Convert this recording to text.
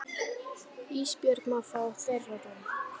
Ísbjörg má fá þeirra rúm.